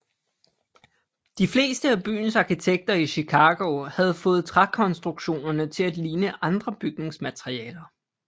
De fleste af byens arkitekter i Chicago havde fået trækonstruktionerne til at ligne andre bygningsmaterialer